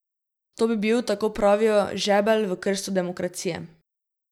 To bi bil, tako pravijo, žebelj v krsto demokracije.